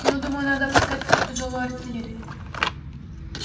ну думаю надо опускать в ход тяжёлую артиллерию